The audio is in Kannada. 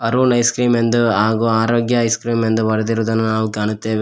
ಅರುಣ್ ಐಸ್ ಕ್ರೀಮ್ ಎಂದು ಹಾಗು ಆರೋಗ್ಯ ಐಸ್ ಕ್ರೀಮ್ ಎಂದು ಬರೆದಿರುವುದನ್ನು ನಾವು ಕಾಣುತ್ತೇವೆ.